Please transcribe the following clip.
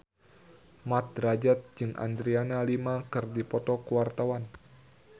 Mat Drajat jeung Adriana Lima keur dipoto ku wartawan